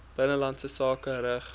binnelandse sake rig